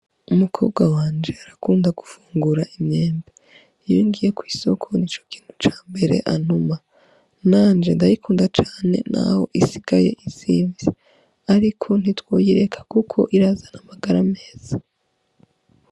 Umukobwa wanje arakunda gufungura imyembe, iyo ngiye kw'isoko nico kintu ca mbere antuma, nanje ndayikunda cane naho isigaye izinvye ariko ntitwoyireka kuko irazana amagara meza.